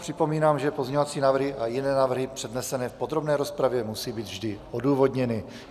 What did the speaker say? Připomínám, že pozměňovací návrhy a jiné návrhy přednesené v podrobné rozpravě musí být vždy odůvodněny.